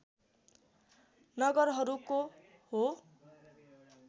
नगरहरूको हो